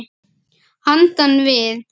Handan við